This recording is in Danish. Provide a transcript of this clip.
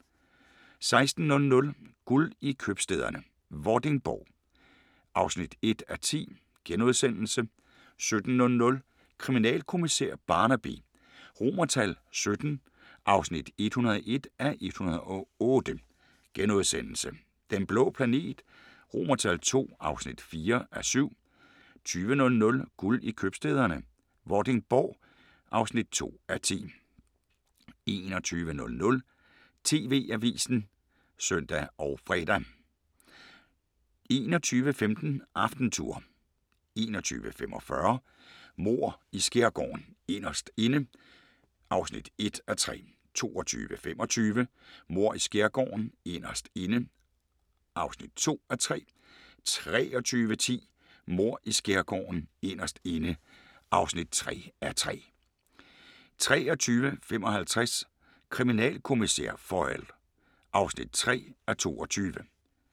16:00: Guld i købstæderne - Vordingborg (1:10)* 17:00: Kriminalkommissær Barnaby XVII (101:108)* 19:00: Den blå planet II (4:7) 20:00: Guld i købstæderne - Vordingborg (2:10) 21:00: TV-avisen (søn og fre) 21:15: AftenTour 21:45: Mord i Skærgården: Inderst Inde (1:3) 22:25: Mord i Skærgården: Inderst inde (2:3) 23:10: Mord i Skærgården: Inderst inde (3:3) 23:55: Kriminalkommissær Foyle (3:22)